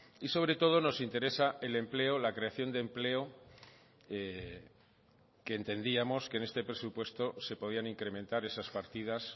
y sobre todo nos interesa el empleo la creación de empleo que entendíamos que en este presupuesto se podían incrementar esas partidas